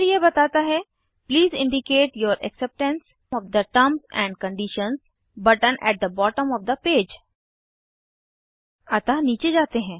फिर यह बताता है please indicate your acceptance of the terms and conditions button at the bottom of the page अतः नीचे जाते हैं